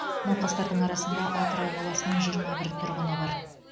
науқастардың арасында атырау қаласының жиырма бір тұрғыны бар